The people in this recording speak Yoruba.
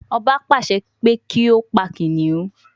Ọba pàṣẹ pé kí ó pa kìnnìún